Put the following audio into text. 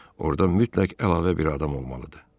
Orda mütləq əlavə bir adam olmalıdır.